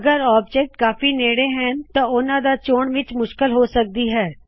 ਅਗਰ ਕੂਛ ਆਬਜੈਕਟਸ ਕਾਫੀ ਨੇੜੇ ਹੋਣ ਤਾਂ ਓਹਨਾ ਦੇ ਚੋਣ ਵਿੱਚ ਮੁਸ਼ਕਲ ਹੋ ਸਕਦੀ ਹੈ